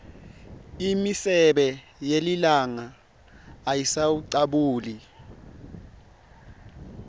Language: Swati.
imisebe yelilanga ayisawucabuli